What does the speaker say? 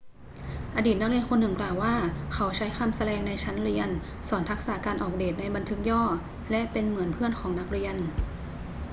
อดีตนักเรียนคนหนึ่งกล่าวว่าเขา ใช้คำสแลงในชั้นเรียน สอนทักษะการออกเดตในบันทึกย่อ และเป็นเหมือนเพื่อนของนักเรียน'